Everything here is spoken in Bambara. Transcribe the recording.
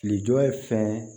Filijɔ ye fɛn